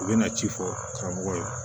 U bɛna ci fɔ karamɔgɔ ye